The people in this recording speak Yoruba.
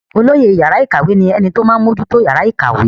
olóyè yàrá ìkàwé ní ẹni tí ó máa ń mójútó yàrá ìkàwé